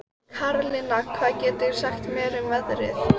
Karlinna, hvað geturðu sagt mér um veðrið?